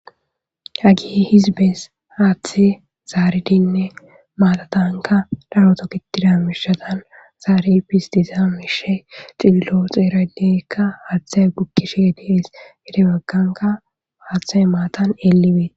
Hagi hizbees haaththe zaaridinne maatatanka daroto kitida mishatan zaari bis diza miishe ciilo xeeradeekka haaththe gukkishe dies hede bagganka aaththa maatan eelibee